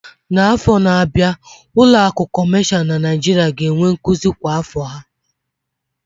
N'afọ na-abịa, ụlọ akụ kọmashal na Nigeria ga-enwe nzukọ kwa afọ ha